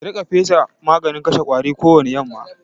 Ki riƙa fesa maganin kashe ƙwari kowani yamma!